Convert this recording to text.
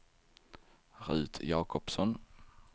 Rut Jacobsson